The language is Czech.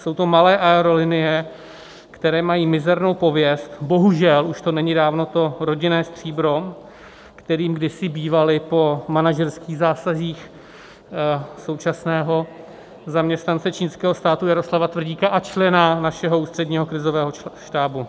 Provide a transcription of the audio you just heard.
Jsou to malé aerolinie, které mají mizernou pověst, bohužel už to není dávno to rodinné stříbro, kterým kdysi bývaly, po manažerských zásazích současného zaměstnance čínského státu Jaroslava Tvrdíka a člena našeho Ústředního krizového štábu.